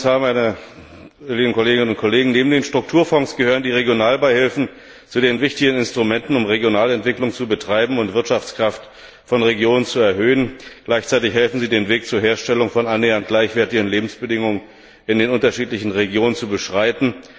Herr Kommissar, meine lieben Kolleginnen und Kollegen! Neben den Strukturfonds gehören die Regionalbeihilfen zu den wichtigen Instrumenten, um regionale Entwicklung zu betreiben und die Wirtschaftskraft von Regionen zu erhöhen. Gleichzeitig helfen sie, den Weg zur Herstellung von annähernd gleichwertigen Lebensbedingungen in den unterschiedlichen Regionen zu beschreiten.